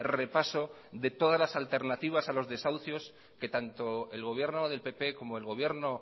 repaso de todas las alternativas a los desahucios que tanto el gobierno del pp como el gobierno